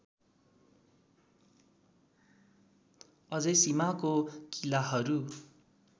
अझै सीमाको किलाहरू